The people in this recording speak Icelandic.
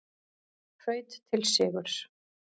Hraut til sigurs